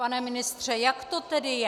Pane ministře, jak to tedy je?